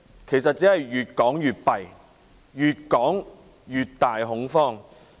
其實只會越說越差，繼續擴大恐慌。